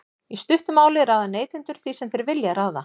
í stuttu máli ráða neytendur því sem þeir vilja ráða